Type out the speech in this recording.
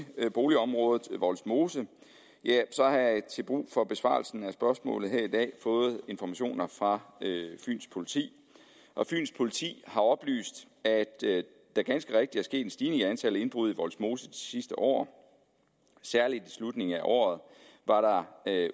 boligområdet vollsmose har jeg til brug for besvarelsen af spørgsmålet her i dag fået informationer fra fyns politi og fyns politi har oplyst at der ganske rigtigt er sket en stigning i antallet af indbrud i vollsmose de sidste år særligt i slutningen af året var der